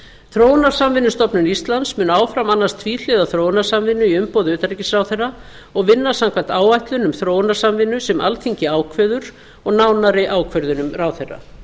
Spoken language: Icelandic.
þróunarsamvinnustofnun íslands mun áfram annast tvíhliða þróunarsamvinnu í umboði utanríkisráðherra og vinna samkvæmt áætlun um þróunarsamvinnu sem alþingi ákveður og nánari ákvörðunum ráðherra